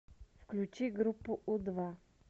включи группу у два